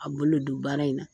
A bolo don baara in na